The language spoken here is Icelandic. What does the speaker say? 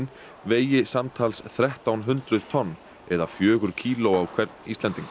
vegi samtals þrettán hundruð tonn eða fjögur kíló á hvern Íslending